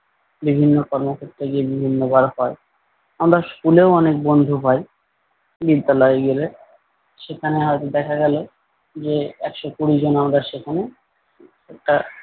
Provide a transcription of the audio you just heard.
বিভিন্ন কর্মক্ষেত্রে গিয়ে বিভিন্ন বার হয়। আমরা স্কুলেও অনেক বন্ধু হয় বিদ্যালয় গেলে। সেখানে হয়তো দেখা গেলো যে একশ কুড়ি জন আমাদের সেখানে একটা,